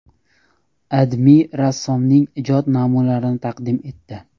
AdMe rassomning ijod namunlarini taqdim etdi .